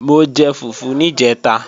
Mo jẹ fùfú níjẹ̀ta